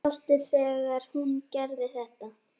Sástu þegar hún gerði þetta?